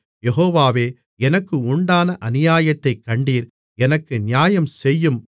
யெகோவாவே எனக்கு உண்டான அநியாயத்தைக் கண்டீர் எனக்கு நியாயம் செய்யும்